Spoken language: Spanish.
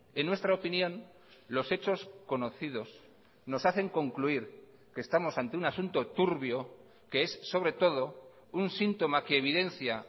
en nuestra opinión los hechos conocidos nos hacen concluir que estamos ante un asunto turbio que es sobre todo un síntoma que evidencia